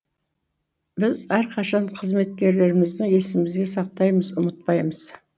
біз әрқашан қызметкерлерімізді есімізге сақтаймыз ұмытпаймыз